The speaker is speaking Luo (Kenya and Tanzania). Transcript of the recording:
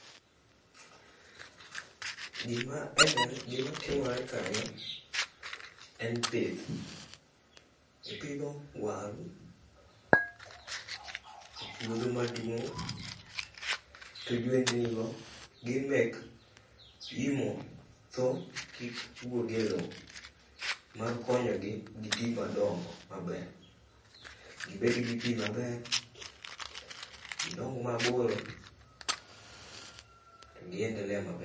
Gimatimore kaeni en pith, ipidho waru e puodho maduong' to jwendnigo gin mek yimo tho kik wuog e lowo, mar konyo gi giti madongo maber. Gibed gi pi maber. Gidong' maboro, gi endelea maber.